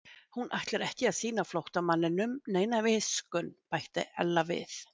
Hún ætlar ekki að sýna flóttamanninum neina miskunn bætti Ella við.